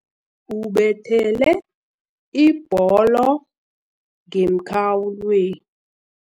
Ubethele ibholo ngemkhawulwe